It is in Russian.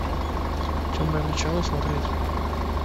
темное начало смотреть